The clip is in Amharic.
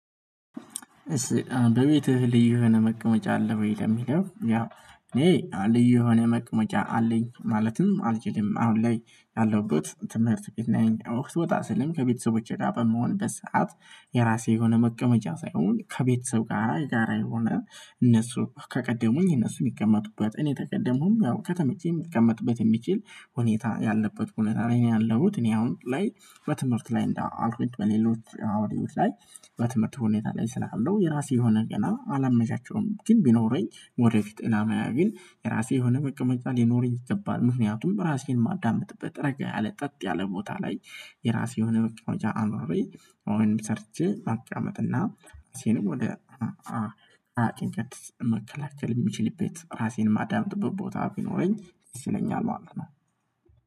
እስ በቤትህ ልዩ የሆነ መቅመጫ አለ ወይ? ለሚለው ያው እኔ ልዩ የሆነ መቅመጫ አለኝ ማለትም አልችልም አሁን ላይ ያለሁበት ትምህርት ቤት ነኝ። ወቅት ወጣ ስልም ከቤተሰቦቼ ጋር በመሆን በሰአት የራሴ የሆነ መቀመጫ ሳይሆን ከቤተሰብ ጋር ጋር የሆነ እነሱ ከቀደሙኝ እነሱ የሚቀመጡበት እኔ ከቀደሙም ያው ከተመቼ የሚቀመጥበት የሚችል ሁኔታ ያለበት ብዙነት አለኝ ነው። ያለሁት እኔ አሁን ላይ በትምህርት ላይ እንዳልኩኝ በሌሎች አውድዮት ላይ በትምህርት ሁኔታ ላይ ስላለው የራሴ የሆነ ገና አላመዣቸውም። ግን ቢኖረኝ ወደፊት እናዚያ ግን የራሴ የሆነ መቀመጫ ሊኖረኝ ይገባል። ምክንያቱም ራሴን ማዳመጥበት ረጋ ያለ ጠጥ ያለ ቦታ ላይ የራሴ የሆነ መቀመጫ አኑሮዬ ወይንም ሰርቼ አቅመጥና ሲንም ወደ አቅመጥ መከላከል የሚችል ቤት ራሴን ማዳመጥ ጥብቅ ቦታ ቢኖረኝ ሲለኝ አልሆነም።